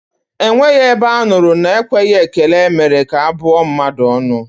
Enweghị ebe a nụrụ na ekweghị ekele mere ka a bụọ mmadụ ọnụ